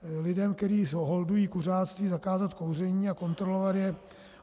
Lidem, kteří holdují kuřáctví, zakázat kouření a kontrolovat je.